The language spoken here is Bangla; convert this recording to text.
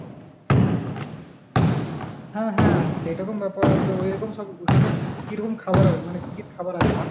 হ্যাঁ হ্যাঁ সেরকম ব্যাপার তো ওইরকম সব ওখানকার কী, কীরকম খাওয়ার হয় মানে কী কী খাওয়ার আছে?